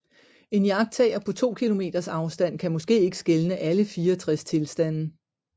En iagttager på to kilometers afstand kan måske ikke skelne alle 64 tilstande